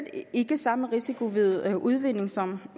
ikke samme risiko ved udvinding som